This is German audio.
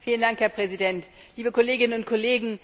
Herr Präsident, liebe Kolleginnen und Kollegen!